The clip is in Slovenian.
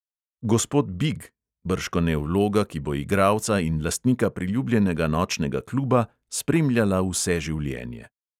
Gospod big, bržkone vloga, ki bo igralca in lastnika priljubljenega nočnega kluba spremljala vse življenje.